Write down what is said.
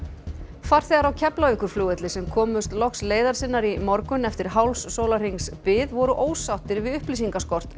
farþegar á Keflavíkurflugvelli sem komust loks leiðar sinnar í morgun eftir hálfs sólarhrings bið voru ósáttir við upplýsingaskort